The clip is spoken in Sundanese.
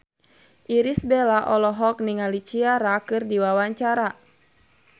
Irish Bella olohok ningali Ciara keur diwawancara